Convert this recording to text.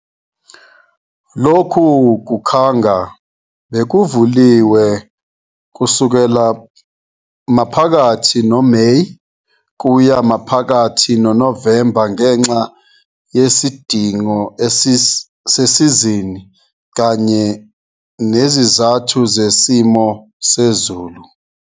Lokhu kukhanga bekuvuliwe kusukela maphakathi noMeyi kuya maphakathi noNovemba ngenxa yesidingo sesizini kanye nezizathu zesimo sezulu.